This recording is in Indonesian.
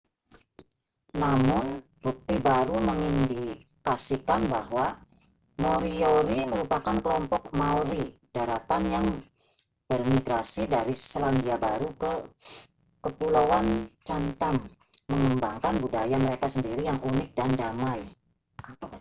namun bukti baru mengindikasikan bahwa moriori merupakan kelompok maori daratan yang bermigrasi dari selandia baru ke kepulauan chatham mengembangkan budaya mereka sendiri yang unik dan damai